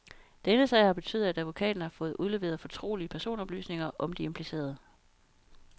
Denne sag har betydet, at advokaten har fået udleveret fortrolige personoplysninger om de implicerede.